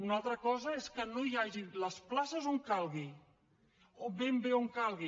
una altra cosa és que no hi hagi les places on calgui o ben bé on calgui